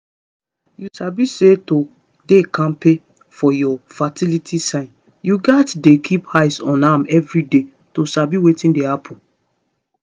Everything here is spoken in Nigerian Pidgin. you sabi say to dey kampe for your fertility signs you gats dey keep eye on am everyday to sabi wetin dey happen